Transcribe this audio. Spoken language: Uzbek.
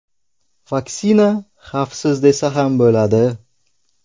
Vaksina xavfsiz desa ham bo‘ladi.